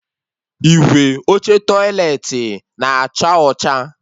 Igwe oche tọiletị na-acha ọcha